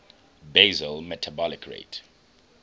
basal metabolic rate